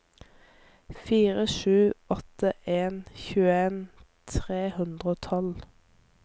fire sju åtte en tjueen tre hundre og tolv